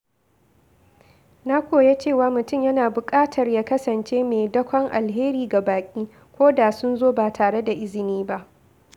Na koya cewa mutum yana buƙatar ya kasance mai dakon alheri ga baƙi ko da sun zo ba tare da izini ba.